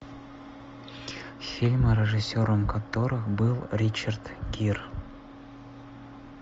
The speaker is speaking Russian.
фильмы режиссером которых был ричард гир